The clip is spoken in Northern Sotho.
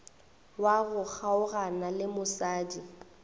wa go kgaogana le mosadi